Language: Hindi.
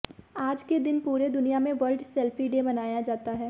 आज के दिन पुरे दुनिया में वर्ल्ड सेल्फी डे मनाया जाता है